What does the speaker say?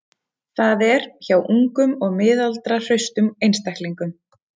Það er, hjá ungum og miðaldra hraustum einstaklingum.